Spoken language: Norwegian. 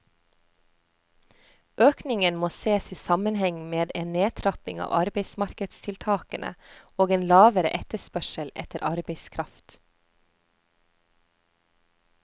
Økningen må ses i sammenheng med en nedtrapping av arbeidsmarkedstiltakene og en lavere etterspørsel etter arbeidskraft.